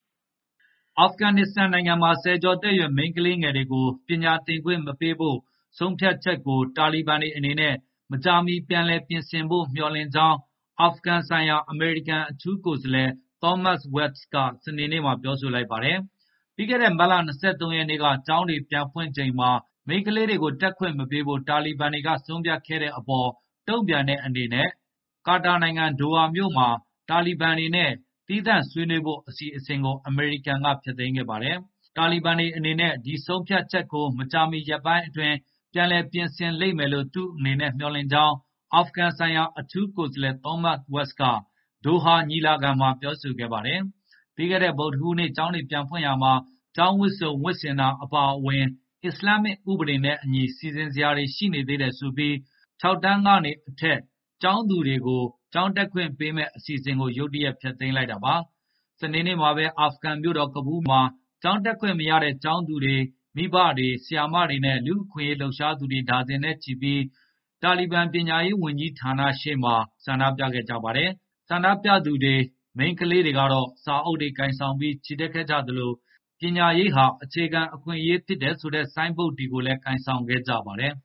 အာဖဂန်နစ္စတန်နိုင်ငံမှာ ဆယ်ကျော်သက်ရွယ် မိန်းကလေးငယ်တွေကို ပညာသင်ခွင့်မပေးဖို့ ဆုံးဖြတ်ချက်ကို တာလီဘန်တွေအနေနဲ့ မကြာမီ ပြန်လည်ပြင်ဆင်ဖို့ မျှော်လင့်ကြောင်း အာဖဂန်ဆိုင်ရာ အမေရိကန် အထူးကိုယ်စားလှယ် Thomas West က စနေနေ့မှာ ပြောဆိုလိုက်ပါတယ်။ ပြီးခဲ့တဲ့ မတ်လ ၂၃ ရက်နေ့က ကျောင်းတွေ ပြန်ဖွင့်ချိန်မှာ မိန်းကလေးတွေကို တက်ခွင့်မပေးဖို့ တာလီဘန်တွေ ဆုံးဖြတ်ခဲ့တဲ့အပေါ် တုံ့ပြန်တဲ့အနေနဲ့ ကာတာနိုင်ငံ ဒိုဟာမြို့မှာ တာလီဘန်တွေနဲ့ သီးသန့်ဆွေးနွေးဖို့ အစီအစဉ်ကို အမေရိကန်ဘက်က ဖျက်သိမ်းခဲ့ပါတယ်။ တာလီဘန်တွေအနေနဲ့ ဒီဆုံးဖြတ်ချက်ကို မကြာမီရက်ပိုင်းအတွင်း ပြန်လည် ပြင်ဆင်လိမ့်မယ်လို့ သူ့အနေနဲ့ မျှော်လင့်ကြောင်း အာဖဂန်ဆိုင်ရာ အထူးကိုယ်စားလှယ် Thomas West က ဒိုဟာညီလာခံမှာ ပြောဆိုခဲ့ပါတယ်။ ပြီးခဲ့တဲ့ ဗုဒ္ဓဟူးနေ့ ကျောင်းတွေပြန်ဖွင့်ရာမှာ ကျောင်းဝတ်စုံဝတ်ဆင်တာ အပါအဝင် အစ္စလာမ်ဥပဒေနဲ့အညီ စီစဉ်စရာတွေ ရှိနေသေးတယ်ဆိုပြီး ၆ တန်းကနေအထက် ကျောင်းသူတွေကို ကျောင်းတက်ခွင့်ပေးမယ့် အစီအစဉ်ကို ရုတ်တရက် ဖျက်လိုက်တာပါ။ စနေနေ့မှာပဲ အာဖဂန်မြို့တော် ကဘူးလ်မှာ ကျောင်းတက်ခွင့်မရတဲ့ ကျောင်းသူတွေ၊ မိဘတွေ၊ ဆရာမတွေနဲ့ လူ့အခွင့်အရေး လှုပ်ရှားသူတွေ ဒါဇင်နဲ့ချီပြီး တာလီဘန် ပညာရေးဝန်ကြီးဌာနရှေ့မှာ ဆန္ဒပြခဲ့ကြပါတယ်။ ဆန္ဒပြသူတွေ၊ မိန်းကလေးတွေကတော့ စာအုပ်တွေကိုင်ဆောင် ချီတက်ခဲ့ကြသလို ပညာရေးဟာ အခြေခံအခွင့်အရေး ဖြစ်တယ်ဆိုတဲ့ ဆိုင်းဘုတ်တွေကိုလည်း ကိုင်ဆောင်ခဲ့ပါတယ်